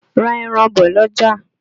Ra ẹran bọ̀ l'ọ́jà!